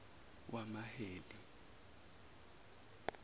wamaheli